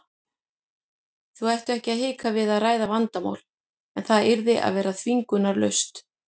Þau ættu ekki að hika við að ræða vandamálin en það yrði að vera þvingunarlaust.